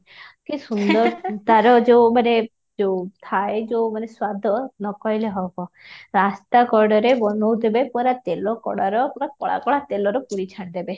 କି ସୁନ୍ଦର ତା'ର ଯାଉ ମାନେ ଯାଉ ଥାଏ ଯଉ ମାନେ ସ୍ୱାଦ ନ କହିଲେ ହେବ, ରାସ୍ତା କଡରେ ବନଉଥିବେ ପରା ତେଲ କଡାର ପୁରା କଳା କଳା ତେଲର ପୁରୀ ଛାଣିଦେବେ